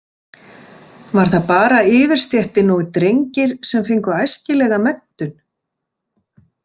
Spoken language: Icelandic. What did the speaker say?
Var það bara yfirstéttin og drengir sem fengu æskilega menntun?